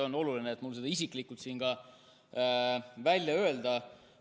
On oluline, et ma selle isiklikult siin välja ütleksin.